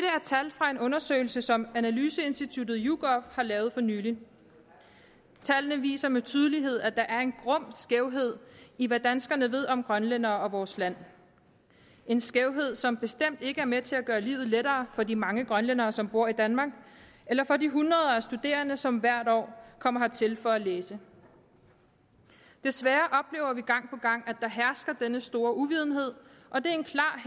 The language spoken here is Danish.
tal fra en undersøgelse som analyseinstituttet yougov har lavet for nylig tallene viser med tydelighed at der er en grum skævhed i hvad danskerne ved om grønlændere og vores land en skævhed som bestemt ikke er med til at gøre livet lettere for de mange grønlændere som bor i danmark eller for de hundrede af studerende som hvert år kommer hertil for at læse desværre oplever vi gang på gang at der hersker denne store uvidenhed og det